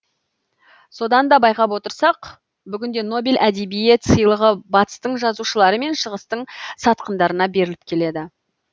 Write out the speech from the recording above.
содан да байқап отырсақ бүгінде нобель әдебиет сыйлығы батыстың жазушылары мен шығыстың сатқындарына беріліп келеді